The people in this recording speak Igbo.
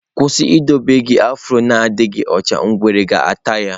Kwụsị idobe gị afro na-adịghị ọcha, ngwere ga-ata ya!